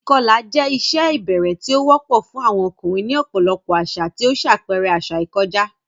Ìkọlà jẹ́ ìṣe ìbẹ̀rẹ̀ tí ó wọ́pọ̀ fún àwọn ọkùnrin ní ọ̀pọ̀lọpọ̀ àṣà, tí ó ń ṣàpẹẹrẹ àṣà ìkọjá.